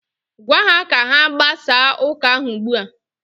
Gwa ha ka ha gbasaa ụka ahụ ugbua!